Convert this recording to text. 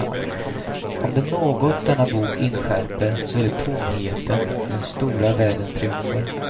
Om det är något denna bok inskärper, så är det tomheten i den stora världens triumfer.